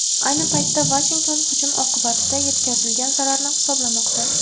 Ayni paytda Vashington hujum oqibatida yetkazilgan zararni hisoblamoqda .